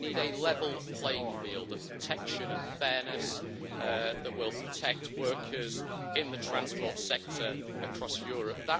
We need a level playing field of protection and fairness that will protect workers in the transport sector across Europe.